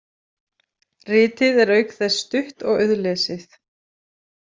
Ritið er auk þess stutt og auðlesið.